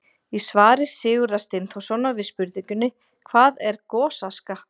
Í svari Sigurðar Steinþórssonar við spurningunni: Hvað er gosaska?